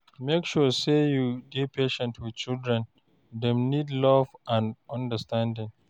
Make sure sey you dey patient wit children, dem need love and understanding